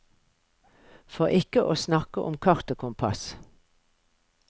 For ikke å snakke om kart og kompass.